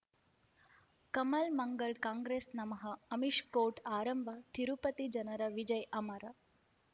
ಕಮಲ್ ಮಂಗಳ್ ಕಾಂಗ್ರೆಸ್ ನಮಃ ಅಮಿಷ್ ಕೋರ್ಟ್ ಆರಂಭ ತಿರುಪತಿ ಜನರ ವಿಜಯ ಅಮರ್